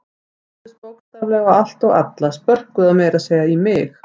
Þau réðust bókstaflega á allt og alla, spörkuðu meira að segja í mig.